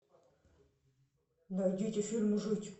найдите фильм жить